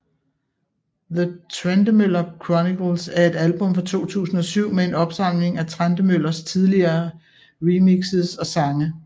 The Trentemøller Chronicles er et album fra 2007 med en opsamling af Trentemøllers tidligere remixes og sange